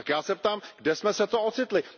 Tak já se ptám, kde jsme se to ocitli?